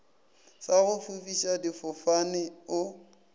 sa go fofiša difofane o